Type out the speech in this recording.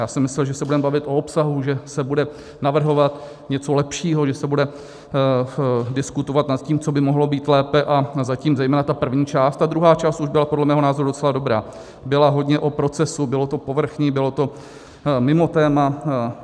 Já jsem myslel, že se budeme bavit o obsahu, že se bude navrhovat něco lepšího, že se bude diskutovat nad tím, co by mohlo být lépe, a zatím zejména ta první část - ta druhá část už byla podle mého názoru docela dobrá - byla hodně o procesu, bylo to povrchní, bylo to mimo téma.